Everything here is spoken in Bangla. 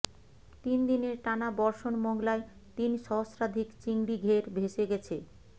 তিন দিনের টানা বর্ষণ মংলায় তিন সহস্রাধিক চিংড়িঘের ভেসে গেছে